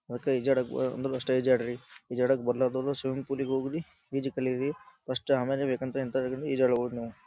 ಅದಕ ಈಜಾಡಕ್ ಬಾ ಬಂದಷ್ಟು ಈಜಾಡಿರಿ. ಈಜಾಡಕ್ ಬರಲಾರದವರು ಸ್ವಿಮ್ಮಿಂಗ್ ಫೂಲ್ ಇಗೆ ಹೋಗ್ರಿ ಈಜು ಕಲೀರಿ ಫಸ್ಟ್ ಆಮೇಲೆ ಬೇಕಂಥ ಈಜಾಡಬಹುದು ನೀವು.